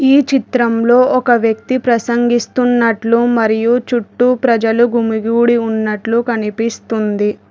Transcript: ఈ చిత్రంలో ఒక వ్యక్తి ప్రసంగిస్తున్నట్లు మరియు చుట్టూ ప్రజలు గుమిగూడి ఉన్నట్లు కనిపిస్తుంది.